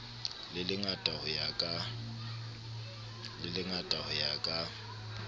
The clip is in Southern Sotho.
le lengata ho ya ka